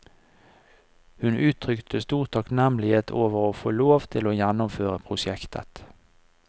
Hun uttrykte stor takknemlighet over å få lov til å gjennomføre prosjektet.